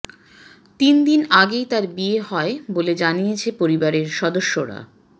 তিনদিন আগেই তার বিয়ে হয় বলে জানিয়েছে পরিবারের সদস্যরা